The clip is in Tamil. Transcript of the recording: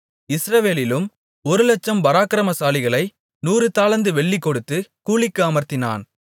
இஸ்ரவேலிலும் ஒருலட்சம் பராக்கிரமசாலிகளை நூறு தாலந்து வெள்ளி கொடுத்து கூலிக்கு அமர்த்தினான்